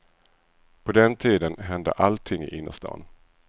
På den tiden hände allting i innerstan.